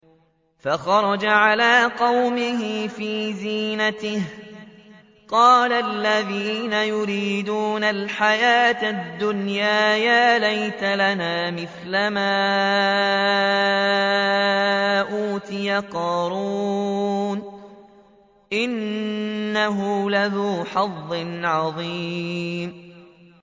فَخَرَجَ عَلَىٰ قَوْمِهِ فِي زِينَتِهِ ۖ قَالَ الَّذِينَ يُرِيدُونَ الْحَيَاةَ الدُّنْيَا يَا لَيْتَ لَنَا مِثْلَ مَا أُوتِيَ قَارُونُ إِنَّهُ لَذُو حَظٍّ عَظِيمٍ